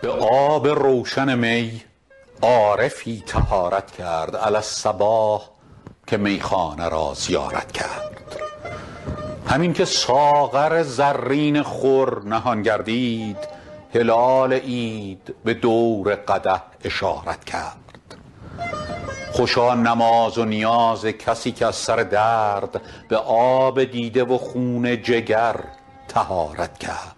به آب روشن می عارفی طهارت کرد علی الصباح که میخانه را زیارت کرد همین که ساغر زرین خور نهان گردید هلال عید به دور قدح اشارت کرد خوشا نماز و نیاز کسی که از سر درد به آب دیده و خون جگر طهارت کرد